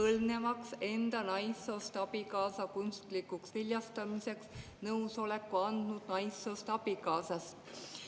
põlvnevaks enda naissoost abikaasa kunstlikuks viljastamiseks nõusoleku andnud naissoost abikaasast.